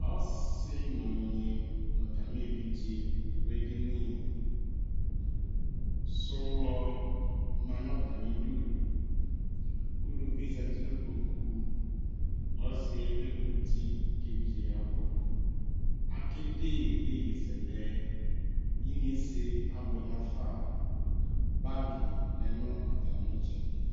Ɔsi nɔnyi natami evidze du edini Sowlɔ ma nʊ atamidu Uluvie zati nu kpoku Ɔsiɛ ekuti kevidze yavʊ Ake de yeyizɛlɛ Inyesɛ abʊɛ nafa Bagi lɛ nʊ atami ɩtsɛdi